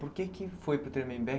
Por que que foi para o Tremembé?